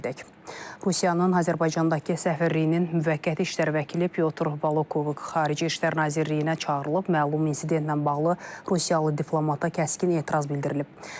Rusiyanın Azərbaycandakı səfirliyinin müvəqqəti işlər vəkili Pyo Trubakov xarici İşlər Nazirliyinə çağırılıb, məlum insidentlə bağlı Rusiyalı diplomata kəskin etiraz bildirilib.